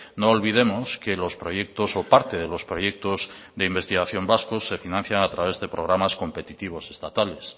no olvidemos que los proyectos o parte de los proyectos de investigación vascos se financian a través de programas competitivos estatales